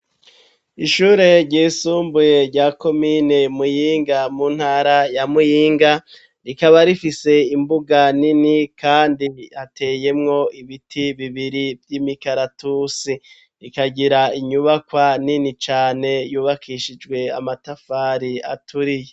Ishure ryisumbuye rya komine Muyinga, mu ntara ya Muyinga, rikaba rifise imbuga nini kandi ateyemwo ibiti bibiri vy'imikaratusi. Rikagira inyubakwa nini cane yubakishijwe amatafari aturiye.